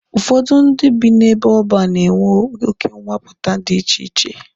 Ụfọdụ ndị bi n'ebe ọban na-enwe oke nwapụta dị iche iche.